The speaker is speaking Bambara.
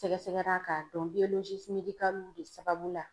Sɛgɛsɛgɛra k'a dɔn de sababu la.